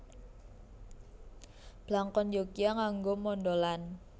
Blangkon Yogya nganggo mondholan